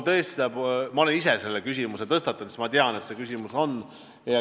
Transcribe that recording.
Ma olen ise selle küsimuse tõstatanud, sest ma tean, et see probleem on olemas.